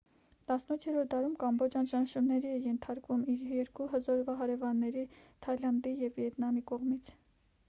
18-րդ դարում կամբոջան ճնշումների էր ենթարկվում իր երկու հզոր հարևանների թայլանդի և վիետնամի կողմից